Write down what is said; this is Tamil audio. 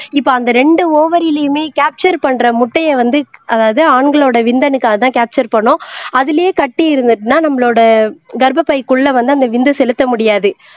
இப்ப அந்த ரெண்டு ஓவரிலயுமே கேப்ச்சர் பண்ற முட்டையை வந்து அதாவது ஆண்களோட விந்தணுக்கள அதான் கேப்ச்சர் பண்ணும் அதிலேயே கட்டி இருந்துச்சுன்னா நம்மளோட கர்ப்பப்பைக்குள்ள வந்து அந்த விந்து செலுத்த முடியாது